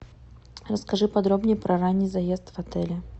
расскажи подробнее про ранний заезд в отеле